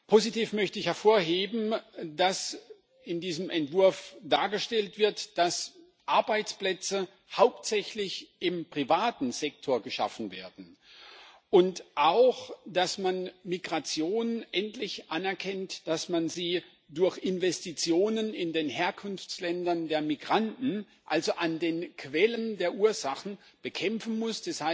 Positiv möchte ich hervorheben, dass in diesem Entwurf dargestellt wird, dass Arbeitsplätze hauptsächlich im privaten Sektor geschaffen werden, und auch, dass man Migration endlich anerkennt, dass man sie durch Investitionen in den Herkunftsländern der Migranten also an den Quellen der Ursachen bekämpfen muss.